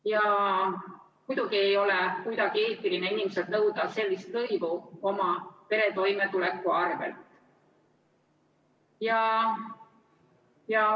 Ja muidugi ei ole kuidagi eetiline inimeselt nõuda sellist lõivu oma pere toimetuleku arvel.